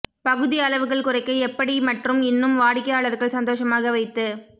பகுதி அளவுகள் குறைக்க எப்படி மற்றும் இன்னும் வாடிக்கையாளர்கள் சந்தோஷமாக வைத்து